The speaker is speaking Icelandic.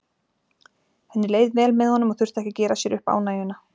Henni leið vel með honum og þurfti ekki að gera sér upp ánægjuna.